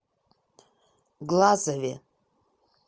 глазове